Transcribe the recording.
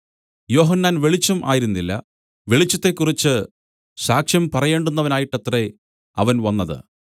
യോഹന്നാൻ വെളിച്ചം ആയിരുന്നില്ല വെളിച്ചത്തെക്കുറിച്ച് സാക്ഷ്യം പറയേണ്ടുന്നവനായിട്ടത്രേ അവൻ വന്നത്